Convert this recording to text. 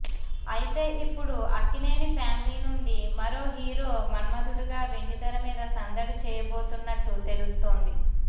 అయితే ఇప్పుడు అక్కినేని ఫ్యామిలీ నుండి మరో హీరో మన్మథుడుగా వెండితెర మీద సందడి చేయబోతున్నట్టు తెలుస్తోంది